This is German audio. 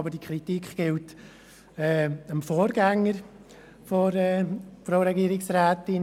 Doch diese Kritik gilt dem Vorgänger der Frau Regierungsrätin.